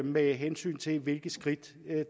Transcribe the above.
med hensyn til hvilke skridt